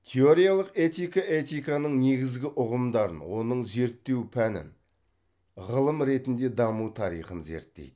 теориялық этика этиканың негізгі ұғымдарын оның зерттеу пәнін ғылым ретінде даму тарихын зерттейді